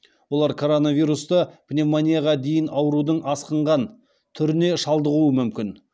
олар коронавирусты пневмонияға дейін аурудың асқынған түріне шалдығуы мүмкін